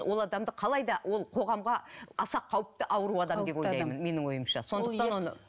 ол адамды қалайда ол қоғамға аса қауіпті ауру адам деп ойлаймын менің ойымша сондықтан оны